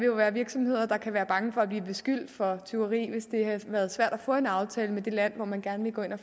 jo være virksomheder der kan være bange for at blive beskyldt for tyveri hvis det har været svært at få en aftale med det land hvor man gerne vil gå ind og